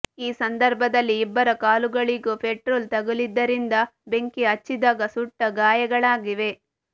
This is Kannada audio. ಈ ಸಂದರ್ಭದಲ್ಲಿ ಇಬ್ಬರ ಕಾಲುಗಳಿಗೂ ಪೆಟ್ರೋಲ್ ತಗುಲಿದ್ದರಿಂದ ಬೆಂಕಿ ಹಚ್ಚಿದಾಗ ಸುಟ್ಟ ಗಾಯಗಳಾಗಿವೆ